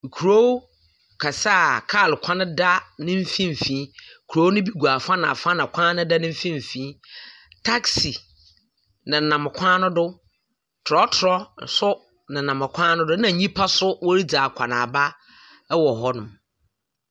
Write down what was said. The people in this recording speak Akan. Kurow kɛse a kaar kwan da ne finimfin. Kurow no gu afa na afa na kwan no da ne finimfin. Taxi nena, kwan no do, trɔtrɔ so nenam kwan no do, na nhimpa so woridzi akɔnaaba wɔ hɔnom.